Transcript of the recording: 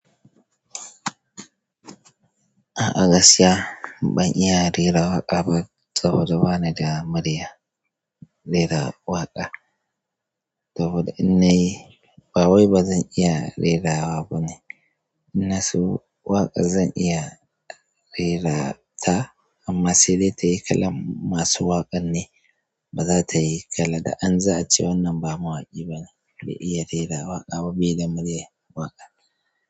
A gaskiya ban iya rera waƙa ba saboda bani da muryar rera waƙa, saboda in na yi ba wai bazan iya rerawa ba ne. In na so waƙa zan iya rerata amma sai dai tayi kalan masu waƙar ne, ba za ta yi kalar da an za ace wannan ba mawaƙi ba ne bai iya rera waƙa ba be da muryar waƙa.